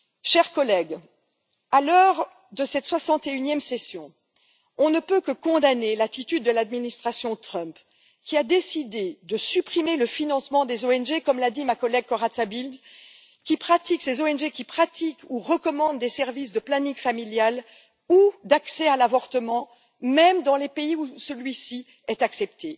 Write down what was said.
Chers collègues, à l'heure de cette 61e session, on ne peut que condamner l'attitude de l'administration Trump, qui a décidé de supprimer le financement des ONG, comme l'a dit ma collègue Corazza Bildt, qui pratiquent ou recommandent des services de planning familial ou d'accès à l'avortement, même dans les pays où celui ci est accepté.